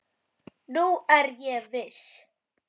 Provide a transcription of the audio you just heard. Nú er ég viss!